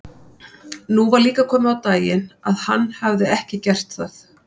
Nú var líka komið á daginn að hann hafði ekki gert það.